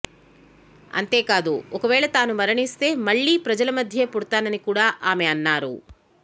అంతేకాదు ఒక వేళ తాను మరణిస్తే మళ్లీ ప్రజల మధ్యే పుడతానని కూడా ఆమె అన్నారు